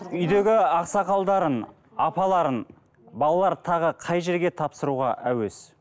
үйдегі ақсақалдарын апаларын балалары тағы қай жерге тапсыруға әуес